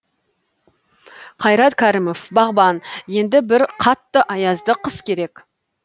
қайрат кәрімов бағбан енді бір қатты аязды қыс керек